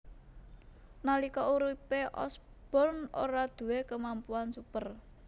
Nalika uripe Osborn ora duwé kemampuan super